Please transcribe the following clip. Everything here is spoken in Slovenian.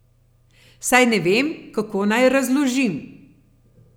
Saj ne vem, kako naj razložim.